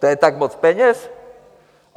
To je tak moc peněz?